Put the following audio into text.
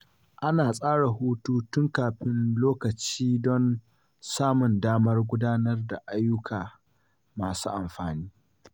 Ana tsara hutu tun kafin lokaci don samun damar gudanar da ayyuka masu amfani.